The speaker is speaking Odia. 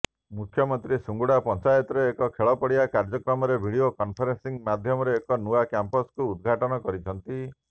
ମୁଖ୍ୟମନ୍ତ୍ରୀ ସୁଙ୍ଗୁଡ଼ା ପଞ୍ଚାୟତରେ ଏକ ଖେଳପଡ଼ିଆ କାର୍ଯ୍ୟକ୍ରମରେ ଭିଡ଼ିଓ କନଫରେନ୍ସିଂ ମାଧ୍ୟମରେ ଏହି ନୂଆ କ୍ୟାମ୍ପସକୁ ଉଦଘାଟନ କରିଛନ୍ତି